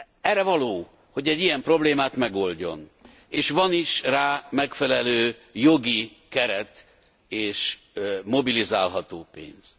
Erre való, hogy egy ilyen problémát megoldjon, és van is rá megfelelő jogi keret és mobilizálható pénz.